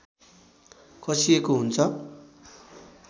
कसिएको हुन्छ